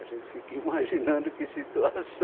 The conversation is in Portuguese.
A gente fica imaginando que situação.